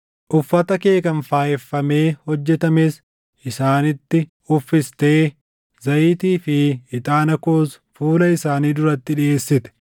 Uffata kee kan faayeffamee hojjetames isaanitti uffistee, zayitii fi ixaana koos fuula isaanii duratti dhiʼeessite.